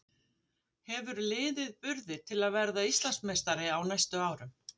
Hefur liðið burði til að verða Íslandsmeistari á næstu árum?